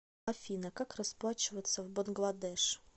афина как расплачиваться в бангладеш